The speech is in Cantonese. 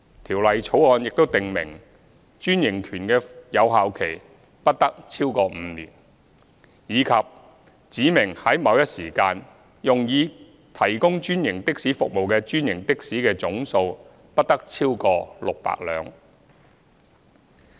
《條例草案》亦訂明專營權的有效期不得超過5年，以及指明在某一時間，用以提供專營的士服務的專營的士的總數，不得超過600輛。